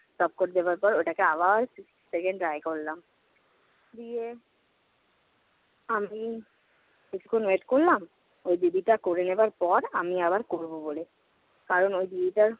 top quote দেবার পর ওটাকে আবার second dry করলাম। দিয়ে আমি কিছুক্ষণ wait করলাম, ওই দিদিটা করে নেবার পর আমি আবার করব বলে। কারণ ওই দিদিটার